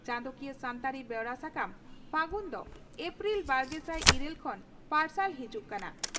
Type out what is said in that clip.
ᱪᱟᱸᱫᱚᱠᱤᱭᱟᱹ ᱥᱟᱱᱛᱟᱲᱤ ᱵᱮᱣᱨᱟ ᱥᱟᱠᱟᱢ 'ᱯᱷᱟᱹᱜᱩᱱ' ᱫᱚ ᱮᱯᱨᱤᱞ ᱵᱟᱨᱜᱮᱥᱟᱭ ᱤᱨᱟᱹᱞ ᱠᱷᱚᱱ ᱯᱟᱨᱥᱟᱞ ᱦᱤᱡᱩᱜ ᱠᱟᱱᱟ ᱾